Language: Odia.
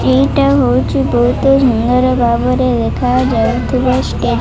ଏଇଟା ହଉଛି ବହୁତ ସୁନ୍ଦର ଭାବରେ ଲେଖାଯାଇଥିବା ଷ୍ଟେ --